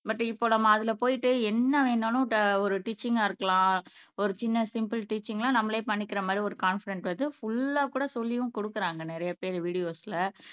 but இப்ப நம்ம அதுல போயிட்டு என்ன வேணாலும் ஒரு டீச்சிங்கா இருக்கலாம் ஒரு சின்ன சிம்ப்பில் டீச்சிங்லாம் நம்மளே பண்ணிக்கிற மாதிரி ஒரு காண்பிடண்ட் வருது புல்லா கூட சொல்லியும் கொடுக்குறாங்க நிறைய பேரு வீடியோஸ்ல